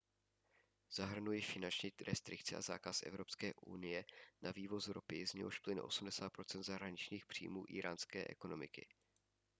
zahrnují finanční restrikce a zákaz evropské unie na vývoz ropy z něhož plyne 80 % zahraničních příjmů íránské ekonomiky